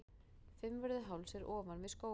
Fimmvörðuháls er ofan við Skógafoss.